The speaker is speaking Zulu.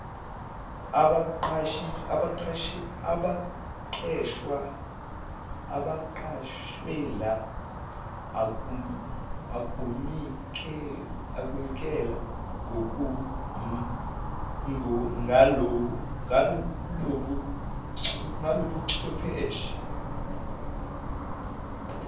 abaqashelwa ukunikela ngalobuchwepheshe